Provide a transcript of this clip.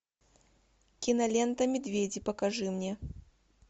кинолента медведи покажи мне